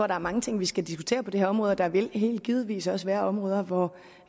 der er mange ting vi skal diskutere det her område og der vil helt givetvis også være områder hvor